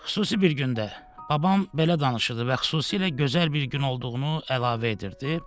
Xüsusi bir gündə babam belə danışırdı və xüsusilə gözəl bir gün olduğunu əlavə edirdi.